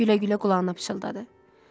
Gülə-gülə qulağına pıçıldadı.